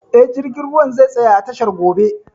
Eh, jirgin ruwan zai tsaya a tashar gobe